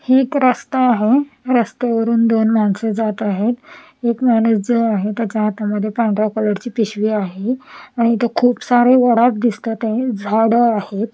हे एक रस्ता आहे रस्त्यावरून दोन माणस जात आहेत एक माणूस जो आहे त्याच्या हातामध्ये पांढरा कलर ची पिशवी आहे आणि इथं खूप सारे उडाप दिसतात झाड आहे.